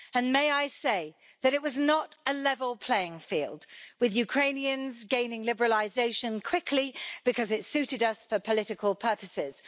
May I say that it was not a level playing field with Ukrainians gaining liberalisation quickly because it suited us for political purposes.